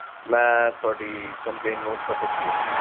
ਮੈਂ ਤੁਹਾਡੀ complaint note ਕਰ ਦਿੱਤੀ ਆ